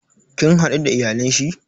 Kin hadu da iyalan shi?